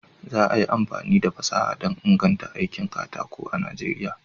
Za a yi amfani da fasaha don inganta aikin katako a Najeriya.